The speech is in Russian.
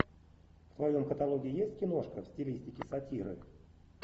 в твоем каталоге есть киношка в стилистике сатиры